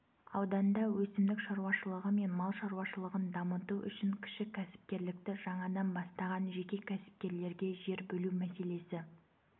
ауданда өсімдік шаруашылығы мен мал шаруашылығын дамыту үшін кіші кәсіпкерлікті жаңадан бастаған жеке кәсіпкерлерге жер бөлу мәселесі